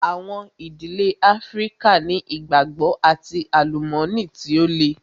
Àwọn ìdílé Áfríkà ni ìgbàgbọ́ and àlùmọ́nì tí ó le.